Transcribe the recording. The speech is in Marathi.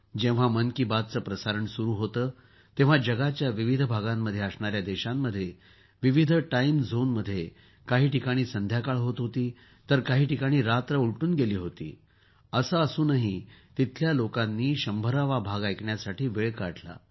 जेव्हा मन की बातचे प्रसारण सुरु होते तेव्हा जगाच्या विविध भागांमध्ये असणाऱ्या देशांमध्ये विविध टाईम झोन मध्ये काही ठिकाणी संध्याकाळ होत होती तर काही ठिकाणी रात्र उलटून गेली होती असे असूनही तिथल्या लोकांनी 100 वा भाग ऐकण्यासाठी वेळ काढला